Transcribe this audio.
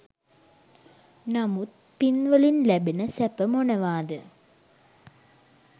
නමුත් පින් වලින් ලැබෙන සැප මොනවාද